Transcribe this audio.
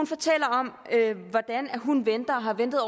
fortæller om hvordan hun har ventet